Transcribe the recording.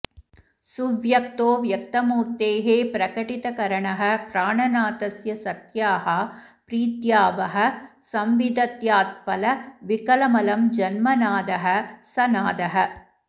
सुव्यक्तो व्यक्तमूर्तेः प्रकटितकरणः प्राणनाथस्य सत्याः प्रीत्या वः संविदध्यात्फलविकलमलं जन्म नादः स नादः